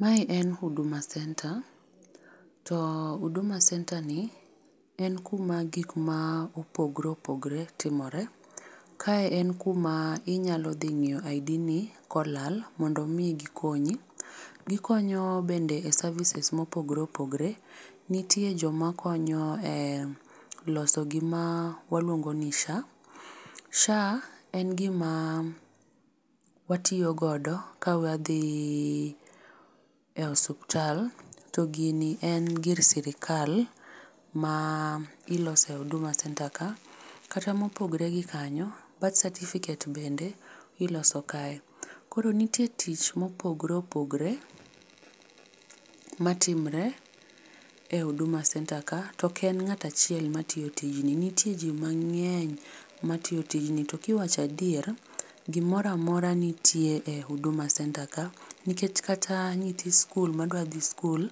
Mae en huduma center to huduma center ni en kuma gikma opogre opogre timore. Kae en kuma inyalo dhi ng'iyo id ni kolal mondo omi gikonyi. Gikonyo bende e services mopogre opogre nitie jomakonyo e loso gima waluongo ni sha, sha en gima watiyogodo ka wadhi e osuptal to gini en gir sirikal ma ilose huduma center ka. Kata mopogore gio kanyo, birth certificate bende iloso kae koro nitie tich mopogre opogre matimre e huduma center ka to oken ng'at achiel matiyo tijni nitie ji mang'eny matiyo tijni to kiwacho adier gimoro amora nitie e huduma center ka nikech kata nyithi skul madwa dhi skul